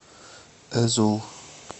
эзул